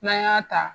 N'an y'a ta